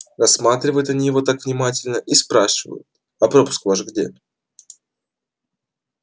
рассматривают они его так внимательно и спрашивают а пропуск ваш где